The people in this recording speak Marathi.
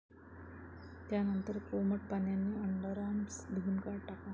त्यानंतर कोमट पाण्याने अंडरआर्म्स धुवून टाका.